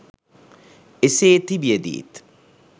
එසේ තිබියදීත්